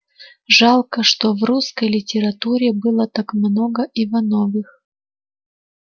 жалко что в русской литературе было так много ивановых